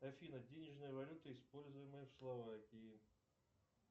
афина денежная валюта используемая в словакии